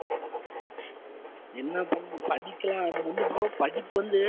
என்ன பண்றது, படிக்கலாம் ஆனா வந்து bro படிப்பு வந்து